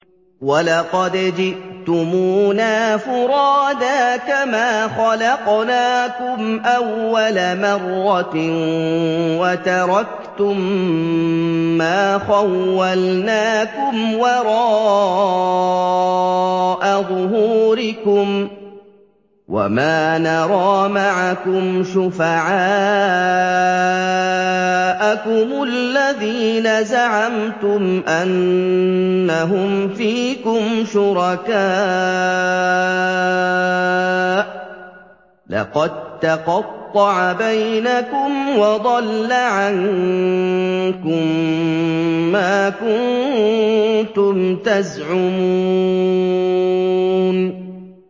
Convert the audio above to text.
وَلَقَدْ جِئْتُمُونَا فُرَادَىٰ كَمَا خَلَقْنَاكُمْ أَوَّلَ مَرَّةٍ وَتَرَكْتُم مَّا خَوَّلْنَاكُمْ وَرَاءَ ظُهُورِكُمْ ۖ وَمَا نَرَىٰ مَعَكُمْ شُفَعَاءَكُمُ الَّذِينَ زَعَمْتُمْ أَنَّهُمْ فِيكُمْ شُرَكَاءُ ۚ لَقَد تَّقَطَّعَ بَيْنَكُمْ وَضَلَّ عَنكُم مَّا كُنتُمْ تَزْعُمُونَ